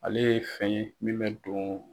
Ale ye fɛn ye min bɛ don.